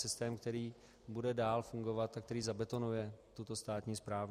Systém, který bude dál fungovat a který zabetonuje tuto státní správu.